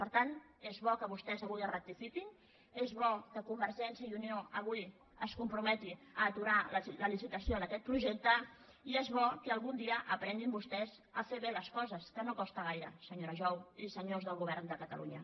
per tant és bo que vostès avui rectifiquin és bo que convergència i unió avui es comprometi a aturar la licitació d’aquest projecte i és bo que algun dia aprenguin vostès a fer bé les coses que no costa gaire senyora jou i senyors del govern de catalunya